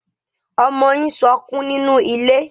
Ọmọ yín sọkún nínú ilé.